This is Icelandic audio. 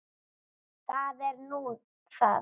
Það er nú það?